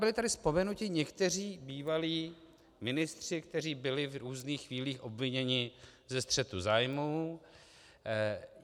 Byli tady vzpomenuti někteří bývalí ministři, kteří byli v různých chvílích obviněni ze střetu zájmů.